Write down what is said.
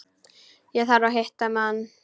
Ég þarf að hitta mann.